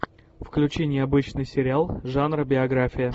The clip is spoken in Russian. включи необычный сериал жанра биография